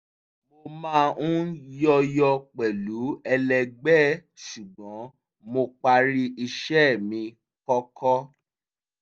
mo máa ń yọ̀yọ̀ pẹ̀lú ẹlẹgbẹ́ ṣùgbọ́n mo parí iṣẹ́ mi kọ́kọ́